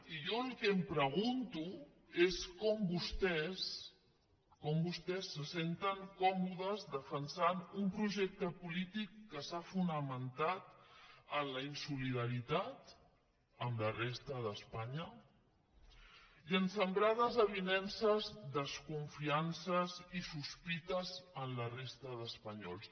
i jo el que em pregunto és com vostès se senten còmodes defensant un projec·te polític que s’ha fonamentat en la insolidaritat amb la resta d’espanya i a sembrar desavinences descon·fiances i sospites en la resta d’espanyols